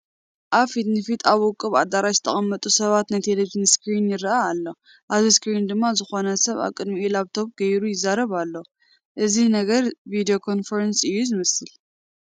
ኣብ ፊት ንፊት ኣብ ውቁብ ኣዳራሽ ዝተቐመጡ ሰባት ናይ ቴለብዥን ስክሪን ይርአ ኣሎ፡፡ ኣብዚ ስክሪን ድማ ዝኾነ ሰብ ኣብ ቅድሚኡ ላፕቶፕ ገይሩ ይዛረብ ኣሎ፡፡ እዚ ነገር ቪድዮ ኮንፈረንስ እዩ ዝመስል፡፡